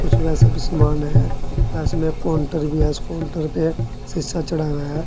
कुछ वैसे भी समान है व इसमें काउंटर भी है उस काउंटर पे शीशा चढ़ा हुआ है।